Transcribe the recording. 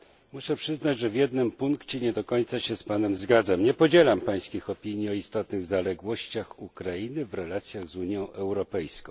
Muszę przyznać, że w jednym punkcie nie do końca się z panem zgadzam. Nie podzielam pańskich opinii o istotnych zaległościach Ukrainy w relacjach z Unią Europejską.